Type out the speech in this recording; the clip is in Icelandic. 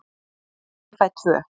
Ég fæ tvö.